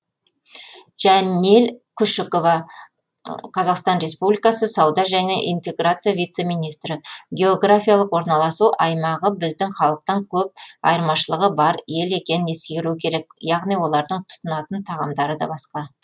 жанел күшікова қазақстан республикасы сауда және интеграция вице министрі географиялық орналасу аймағы біздің халықтан көп айырмашылығы бар ел екенін ескеру керек яғни олардың тұтынатын тағамдары да басқа